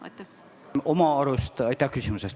Aitäh küsimuse eest!